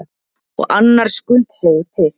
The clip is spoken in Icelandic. Og annar skuldseigur til.